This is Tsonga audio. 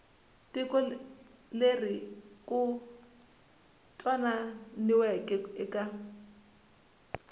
tiko leri ku twananiweke eka